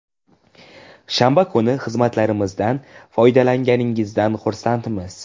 Shanba kuni xizmatlarimizdan foydalanganingizdan xursandmiz.